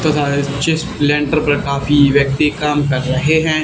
तथा इस चिस लेंटर पर काफी व्यक्ति काम कर रहें हैं।